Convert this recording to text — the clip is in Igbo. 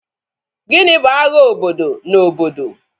Gịnị bụ agha obodo na obodo?